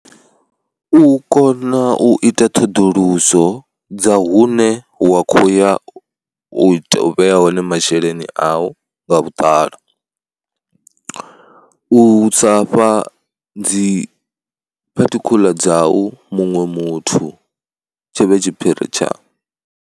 U kona u ita ṱhoḓuluso dza hune wa khou ya u vhea hone masheleni au nga vhuḓalo, u sa fha dzi particular dzau muṅwe muthu tshi vhe tshiphiri tshau.